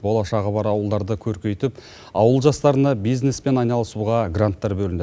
болашағы бар ауылдарды көркейтіп ауыл жастарына бизнеспен айналысуға гранттар бөлінеді